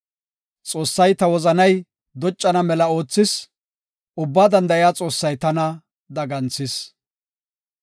Xoossay ta wozanay doccana mela oothis; Ubbaa danda7iya Xoossay tana daganthis.